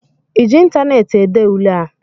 ị ji ịntaneetị ede ule a?